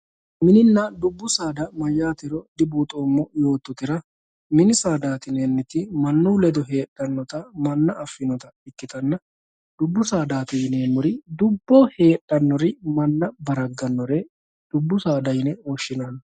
Mininna dubu saada mayatero dubuxomo yototera mini saadati yinaniti manu ledo hedhanota mana afinota ikitana dubbu saadati yinemori dubboho hedhanori mana baraganori dubbu saada yine woshinanni